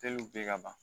ka ban